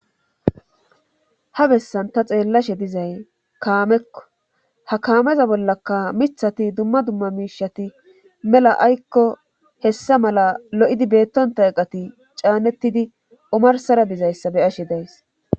ha bessan ta xeellashe dizay kaamekko ha kaameza bollaka mithati dumma dumma miishati mela aykko hessa mala lo7idi beettonta eqati caanettidi omarsara dizayssa be ashe days